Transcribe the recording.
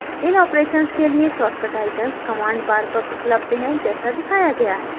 इन operations के लिए short icons command bar पर उपलब्ध हैं जैसा दिखाया गया है